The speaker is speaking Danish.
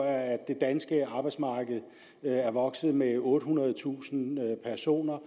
er det danske arbejdsmarked vokset med ottehundredetusind personer